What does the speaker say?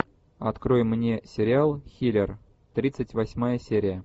открой мне сериал хилер тридцать восьмая серия